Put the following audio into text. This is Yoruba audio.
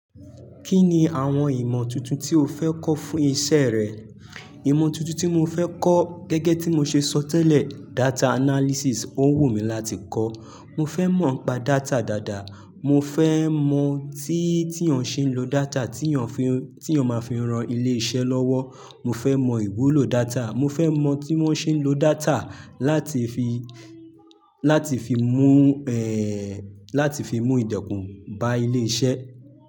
Kí ni àwọn ìmọ̀ tuntun tí o fẹ́ kọ́ fún iṣẹ́ rẹ? Ìmọ̀ tuntun tí mo fẹ́ kọ́ gẹ́gẹ́ tí mo ṣe sọ tẹ́lẹ̀, data analysis. Ó ń wù mí láti kọ́. Mo fẹ́ mọ̀ ń pa data dáadáa. Mo fẹ́ mọ̀ tí, tí èèyàn ṣe ń lo data tí èèyàn fi, tí èèyàn máa fi ran ilé iṣẹ́ lọ́wọ́. Mo fẹ́ mọ ìwúlò data. Mo fẹ́ mọ̀ tí wọ́n ṣe ń lo data láti fi, láti fi mú, láti fi mú ìdọ̀kún bá ilé iṣẹ́.